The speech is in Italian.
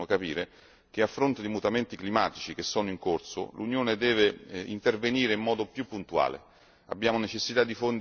Penso sia opportuno capire che, a fronte dei mutamenti climatici che sono in corso, l'Unione deve intervenire in modo più puntuale.